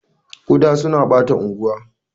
Kuda suna ɓata anguwa.